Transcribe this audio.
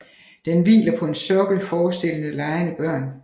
Den hviler på en sokkel forestillende legende børn